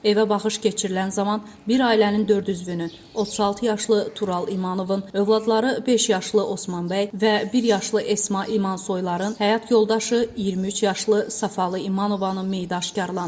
Evə baxış keçirilən zaman bir ailənin dörd üzvünün, 36 yaşlı Tural İmanovun övladları beş yaşlı Osmanbəy və bir yaşlı Esma İmansoyların həyat yoldaşı 23 yaşlı Səfalı İmanovanın meyiti aşkarlanıb.